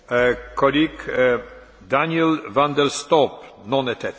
Voorzitter, mijn partij, de Partij voor de Vrijheid, is altijd glashelder geweest.